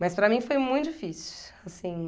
Mas, para mim, foi muito difícil, assim